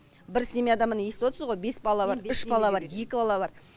бір семьяда міне естіп отсыз ғой бес бала бар үш бала бар екі бала бар